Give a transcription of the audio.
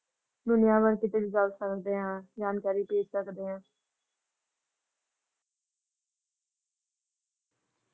ਦੁਨੀਆਂ ਭਰ ਸਮਜ ਦੇ ਹਾਂ ।ਜਾਣਕਾਰੀ ਭੇਜ ਸਕਦੇ ਹਾਂ ।